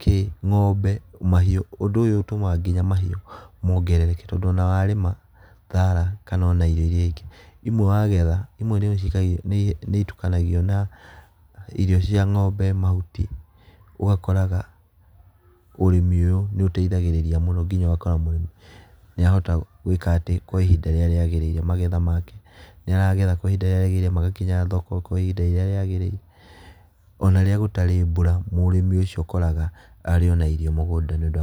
kĩĩ ng'ombe mahiũ. Ũndũ ũyũ ũtũmaga nginya mahiũ mongerereke tondũ ona warĩma thara kana ona irio iria ingĩ, imwe wagetha imwe nĩ itukanagio na irio cia ng'ombe mahuti ũgakoraga ũrĩmi ũyũ nĩ ũteithagĩrĩria mũno nginya ũgakora mũrĩmi nĩ arahota gwĩka atĩ kwa ihinda rĩrĩa rĩagĩrĩire. Magetha make nĩ aragetha kwa ihinda rĩrĩa rĩagĩrĩire magakinya thoko kwa ihinda rĩrĩa rĩagĩrĩire. Ona rĩrĩa gũtarĩ mbura mũrimi ũcio ũkoraga arĩ ona irio mũgũnda nĩ ũndũ wa.